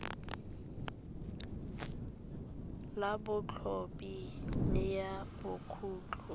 la botshabi le ya bokhutlong